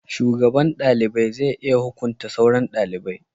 shugaban dalibai zai iya hukunta sauran dalibai